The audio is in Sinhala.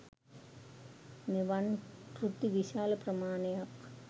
මෙවන් කෘති විශාල ප්‍රමාණයක්